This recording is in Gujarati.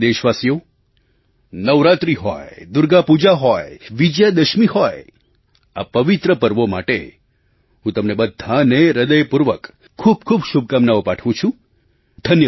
મારા પ્રિય દેશવાસો નવરાત્રિ હોય દુર્ગાપૂજા હોય વિજયાદશમી હોય આ પવિત્ર પર્વો માટે હું તમને બધાને હૃદયપૂર્વક ખૂબ ખૂબ શુભકામનાઓ પાઠવું છું